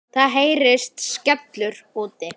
Það heyrist skellur úti.